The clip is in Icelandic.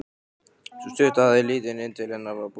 Sú stutta hafði litið inn til hennar frá búverkunum.